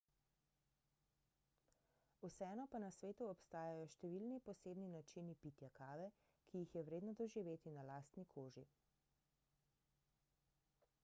vseeno pa na svetu obstajajo številni posebni načini pitja kave ki jih je vredno doživeti na lastni koži